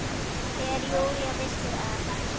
Þegar Júlía vissi að